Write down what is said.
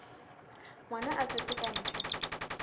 ngwana a tswetswe ka ntle